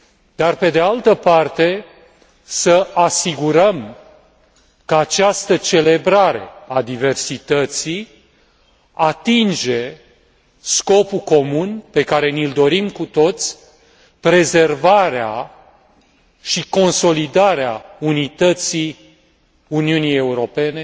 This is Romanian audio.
dar, pe de altă parte, să asigurăm că această celebrare a diversității atinge scopul comun pe care ni l dorim cu toții prezervarea și consolidarea unității Uniunii Europene,